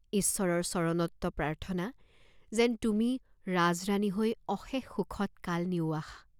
ঈশ্বৰৰ চৰণত্ব প্ৰাৰ্থনা, যেন তুমি ৰাজৰাণী হৈ অশেষ সুখত কাল নিওৱাঁস।